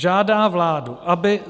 Žádá vládu, aby